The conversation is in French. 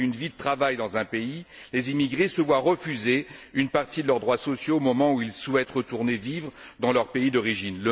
Après une vie de travail dans un pays, les émigrés se voient refuser une partie de leurs droits sociaux au moment où ils souhaitent retourner vivre dans leur pays d'origine.